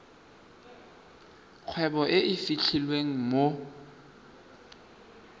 kgwebo e e fitlhelwang mo